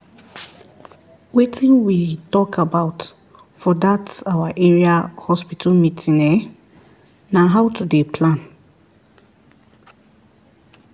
wetin we talk about for that our area hospital meeting ehnn na how to dey plan